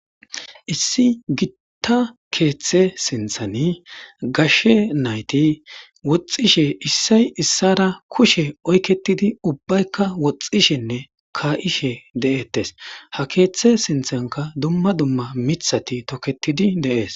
issi gitta keeththe sinththan gashshe nayt woxxishe issay issara kushe oyketidi ubbaykka woxxishenne ka'she de'ettes ha keeththe sinthanka dumma dumma mithati toketid dees